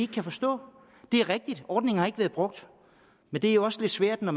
kan forstå det er rigtigt at ordningen ikke har været brugt men det er jo også svært når